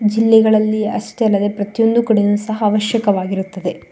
ಜಿಲ್ಲೆ ಗಳಲ್ಲೂ ಅಷ್ಟೇ ಅಲ್ಲದೆ ಪ್ರತಿಯೊಂದು ಕಡೆ ಸಹ ಅವಶ್ಯಕವಾಗಿದೆ.